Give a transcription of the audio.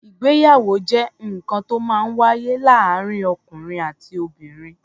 Ìgbéyàwó jẹ́ nǹkan to ó máa ń wáyé láàárín ọ̀kùnrin àti obìnrin.